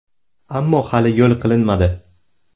Ammo hali yo‘l qilinmadi.